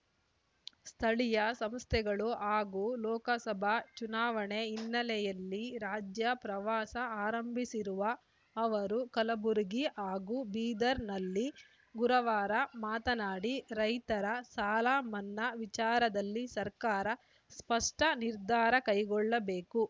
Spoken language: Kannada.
ಸ್ಥಳೀಯ ಸಂಸ್ಥೆಗಳು ಹಾಗೂ ಲೋಕಸಭಾ ಚುನಾವಣೆ ಹಿನ್ನೆಲೆಯಲ್ಲಿ ರಾಜ್ಯ ಪ್ರವಾಸ ಆರಂಭಿಸಿರುವ ಅವರು ಕಲಬುರಗಿ ಹಾಗೂ ಬೀದರ್‌ನಲ್ಲಿ ಗುರವಾರ ಮಾತನಾಡಿ ರೈತರ ಸಾಲ ಮನ್ನಾ ವಿಚಾರದಲ್ಲಿ ಸರ್ಕಾರ ಸ್ಪಷ್ಟನಿರ್ಧಾರ ಕೈಗೊಳ್ಳಬೇಕು